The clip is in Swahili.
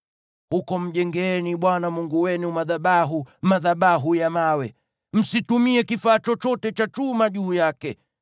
Huko mjengeeni Bwana Mungu wenu madhabahu, madhabahu ya mawe. Msitumie kifaa chochote cha chuma juu yake.